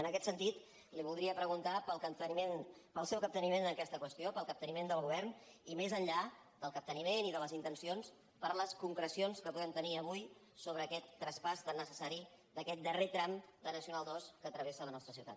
en aquest sentit li voldria preguntar pel seu capteniment en aquesta qüestió pel capteniment del govern i més enllà del capteniment i de les intencions per les concrecions que podem tenir avui sobre aquest traspàs tan necessari d’aquest darrer tram de nacional ii que travessa la nostra ciutat